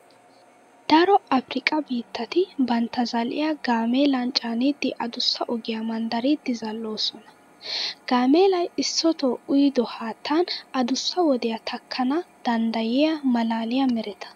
Daro afirkkaa biittati bantta zal"iya gaameelan caanidi adussa ogiya manddaridi zal"oosona. Gaameelay issotoo uyido haattan adussa wodiya takkana danddayiya maalaaliya mereta.